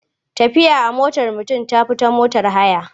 Tafiya a motar mutum ta fi da motar haya.